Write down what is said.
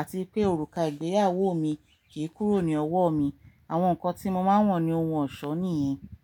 àti pé òrùka ìgbéyàwó mi kì í kúrò ní ọwọ́ mi. Àwọn nǹkan tí mo máa ń wọ̀ ni ohun ọ̀ṣọ́ nìyẹn.